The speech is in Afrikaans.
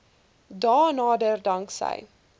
dae nader danksy